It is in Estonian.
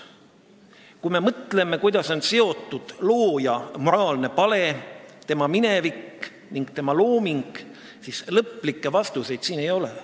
Kui me mõtleme, kuidas on seotud looja moraalne pale, tema minevik ning tema looming, siis lõplikke vastuseid siin ei ole.